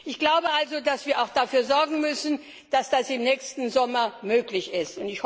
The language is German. Ich glaube also, dass wir auch dafür sorgen müssen, dass das im nächsten Sommer möglich ist.